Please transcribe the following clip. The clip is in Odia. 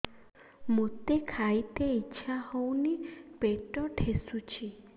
ମୋତେ ଖାଇତେ ଇଚ୍ଛା ହଉନି ପେଟ ଠେସୁଛି